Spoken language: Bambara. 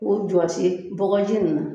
K'o jɔse bɔgɔji nin na